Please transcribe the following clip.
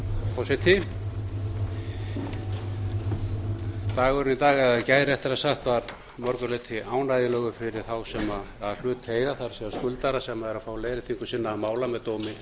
í dag eða í gær réttara sagt var að mörgu leyti ánægjulegur fyrir þá sem hlut eiga það er skuldara sem eru að fá leiðréttinga sinna mála með dómi